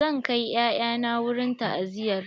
Zan kai 'ya'ya na wurin ta'aziyar.